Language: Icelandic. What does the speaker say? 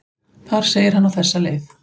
Þar segir hann á þessa leið: